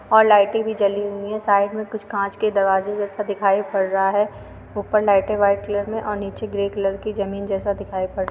और लाइटें भी जली हुई है। साइड में कुछ कांच के दरवाज़े जैसा दिखाई पड़ रहा है। ऊपर लाइटें वाइट कलर और नीचे ग्रे कलर की ज़मीन जैसा दिखाई पड़ रहा है।